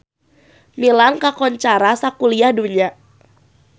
Milan kakoncara sakuliah dunya